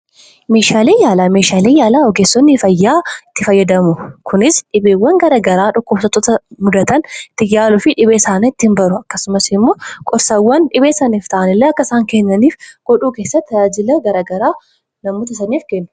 Meeshaalee fayyaa jechuun kan ogeessonni fayyaa itti gargaarraman yoo ta'u dhibeewwan adda adda irraa nama fayyisuuf kan itti fayyadamanidha. Akkasumas gorsaa garagaraa akka isaan kennaniif kan isaan gargaarudha.